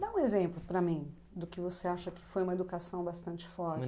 Dá um exemplo para mim do que você acha que foi uma educação bastante forte.